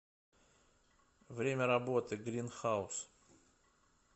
время работы грин хаус